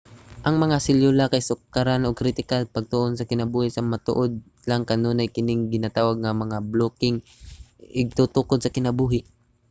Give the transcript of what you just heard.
ang mga selyula kay sukaranan ug kritikal sa pagtuon sa kinabuhi sa matuod lang kanunay kining ginatawag nga mga blokeng igtutukod sa kinabuhi